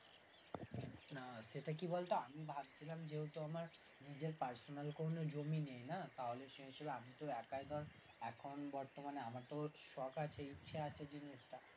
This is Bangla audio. না সেটা কি বলতো আমি ভাবছিলাম যেহেতু আমার নিজের personnel কোনো জমি নেই না তাহলে সেই হিসাবে আমি তো একাই ধর এখন বর্তমানে আমার তো শখ আছে ইচ্ছা আছে জিনিসটা